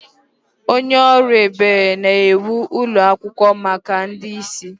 Onye ọrụ ebere na-ewu ụlọ akwụkwọ maka ndị ìsì.